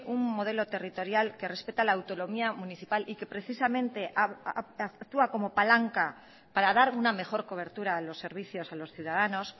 un modelo territorial que respeta la autonomía municipal y que precisamente actúa como palanca para dar una mejor cobertura a los servicios a los ciudadanos